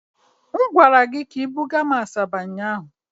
M gwara gị ka I bugara m Asaba ụnyaahụ.